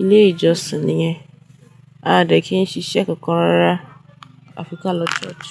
ilé ìjọsìn nìyẹn, a dẹ̀ kí ń ṣiṣẹ́ kankan rárá, a fi ká lọ church.